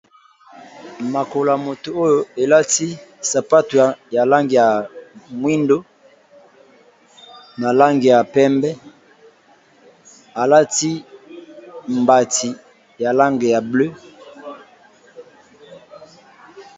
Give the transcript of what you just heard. Makola ya moto oyo elati sapato ya langi ya mwindo, na langi ya pembe, alati mbati ya langi ya bleu.